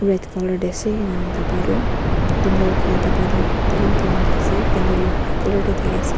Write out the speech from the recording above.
red colour te ase enyana daba toh candle laga daba toh brown ase candle toh white colour te thaki ase.